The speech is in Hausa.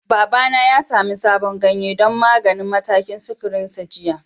Babana ya sami sabon ganye don maganin matakin sukarinsa jiya.